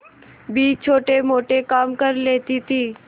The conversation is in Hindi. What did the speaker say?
भी छोटेमोटे काम कर लेती थी